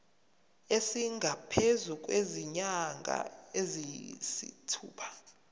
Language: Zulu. esingaphezu kwezinyanga eziyisithupha